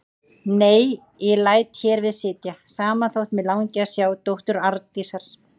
Nei, ég læt hér við sitja, sama þótt mig langi að sjá dóttur Arndísar.